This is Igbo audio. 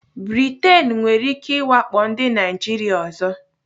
Britain nwere ike iwakpo ndị Naijiria ọzọ.